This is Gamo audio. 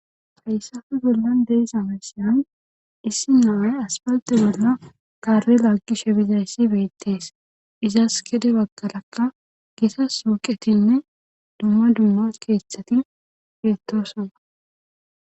fayssafu gollan deyis amesiyan issi naawe aspalte bolna kare laggishe bizayssi beettees izas kede bagkalakka gita suuqetinne dumma dumma keeththati feettosana